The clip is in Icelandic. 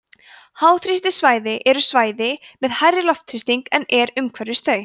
háþrýstisvæði eru svæði með hærri loftþrýsting en er umhverfis þau